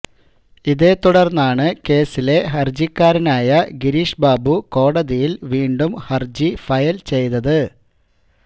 ഇതേത്തുടർന്നാണു കേസിലെ ഹർജിക്കാരനായ ഗിരീഷ് ബാബു കോടതിയിൽ വീണ്ടും ഹർജി ഫയൽ ചെയ്തത്